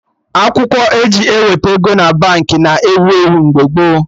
Akwụkwọ eji eweta ego na Baankị na ewu ewu mgbe gboo